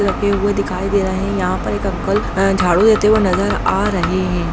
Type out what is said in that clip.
लगे हुए दिखाई दे रहे हैं यहाँ पर एक अंकल अ अ झाड़ू देते हुए नज़र आ रहे हैं।